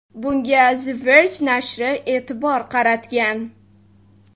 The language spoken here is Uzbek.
Bunga The Verge nashri e’tibor qaratgan .